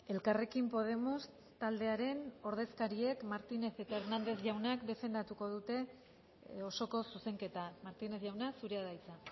elkarrekin podemos taldearen ordezkariek martínez eta hernández jaunak defendatuko dute osoko zuzenketa martínez jauna zurea da hitza